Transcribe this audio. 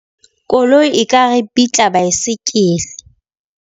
Koloi e ka ripitla baesekele.